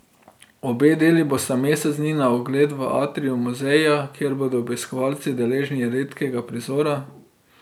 Obe deli bosta mesec dni na ogled v atriju muzeja, kjer bodo obiskovalci deležni redkega prizora.